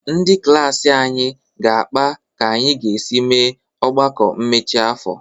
Ndị klaasị anyị ga-akpa ka anyị ga-esi mee ọgbakọ mmechi afọ.